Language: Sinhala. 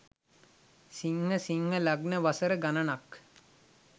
සිංහ සිංහ ලග්න වසර ගණනක්